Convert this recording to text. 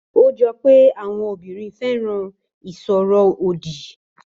Ó jọ pé àwọn obìnrin fẹ́ràn ìsọ̀rọ̀ òdì